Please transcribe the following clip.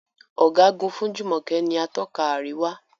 Ọ̀gágun fún Jumoke ní Atọ́ka àríwá.